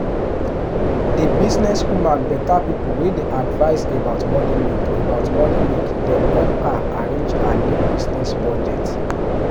the business-woman better people wey dey advice about moneymake about moneymake dem help her arrange her new business budget